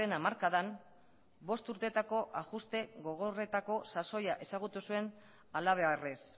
hamarkadan bost urtetako ajuste gogorretako sasoia ezagutu zuen halabeharrez